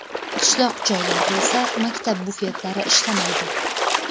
Qishloq joylarda esa maktab bufetlari ishlamaydi.